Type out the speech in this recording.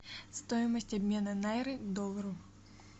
стоимость обмена найры к доллару